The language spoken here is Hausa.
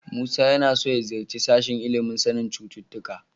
Musa yana so ya ziyarci sashen ilimin sanin cututtuka.